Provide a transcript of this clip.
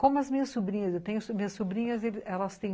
Como as minhas sobrinhas, eu tenho minhas sobrinhas, elas têm ,